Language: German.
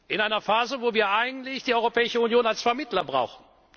Partei in einer Phase, in der wir eigentlich die Europäische Union als Vermittler brauchen.